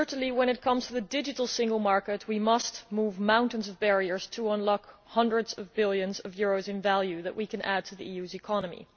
When it comes to the digital single market, certainly we must move mountains of barriers to unlock the hundreds of billions of euros in value that we can add to the EU's economy.